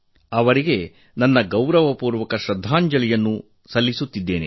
ಅವರಿಗೆ ನನ್ನ ಗೌರವಪೂರ್ವಕ ಶ್ರದ್ದಾಂಜಲಿ ಸಲ್ಲಿಸುತ್ತೇನೆ